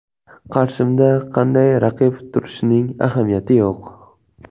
Qarshimda qanday raqib turishining ahamiyati yo‘q.